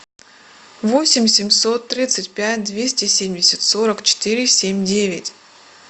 восемь семьсот тридцать пять двести семьдесят сорок четыре семь девять